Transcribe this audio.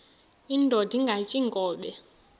indod ingaty iinkobe